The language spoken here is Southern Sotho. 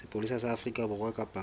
sepolesa sa afrika borwa kapa